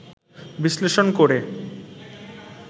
বিশ্লেষণ করে